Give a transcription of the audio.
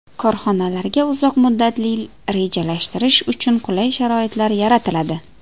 Korxonalarga uzoq muddatli rejalashtirish uchun qulay sharoitlar yaratiladi.